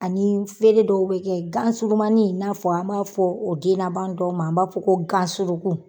Ani fere dɔw bɛ kɛ, gansurumanin in n'a fɔ an b'a fɔ o den laban dɔw man an b'a fɔ ko gansuruku.